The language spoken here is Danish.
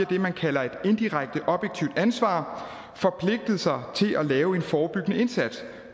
det man kalder et indirekte objektivt ansvar forpligtet sig til at lave en forebyggende indsats